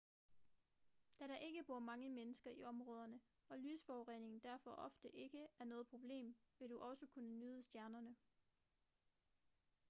da der ikke bor mange mennesker i områderne og lysforurening derfor ofte ikke er noget problem vil du også kunne nyde stjernerne